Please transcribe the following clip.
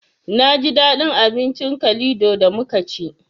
Naji daɗin abincin kalido da muka ci